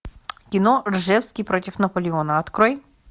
кино ржевский против наполеона открой